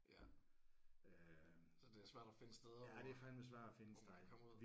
Ja. Så det er svært at finde steder hvor hvor man kan komme ud